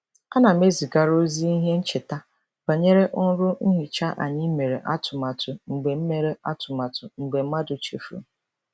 Ana m ezigara ozi ihe ncheta banyere ọrụ nhicha anyị mere atụmatụ mgbe mere atụmatụ mgbe mmadụ chefuru.